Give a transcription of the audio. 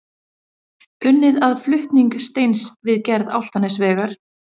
Unnið að flutning steins við gerð Álftanesvegar.